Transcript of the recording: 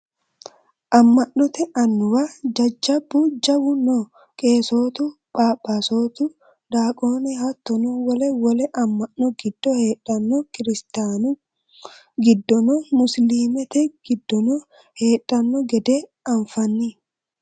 Ama'note annuwa jajjabbu jawu no qeessotu phaphasotu daqone hattono wole wole ama'no giddo heedhano kiristanu giddono musilimete giddono heedhano gede anfanni.